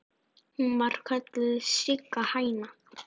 Hún var kölluð Sigga hæna.